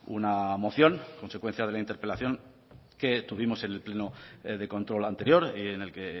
una moción consecuencia de la interpelación que tuvimos en el pleno de control anterior y en el que